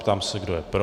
Ptám se, kdo je pro.